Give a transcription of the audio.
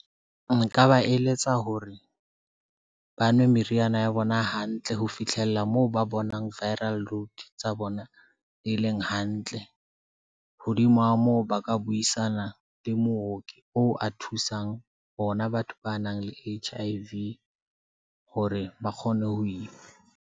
Nka ba eletsa hore ba nwe meriana ya bona hantle ho fitlhella moo ba bonang Viral Load tsa bona, di leng hantle. Hodimo ha moo ba ka buisana le mooki o a thusang bona. Batho ba nang le H_I_V hore ba kgone ho ima.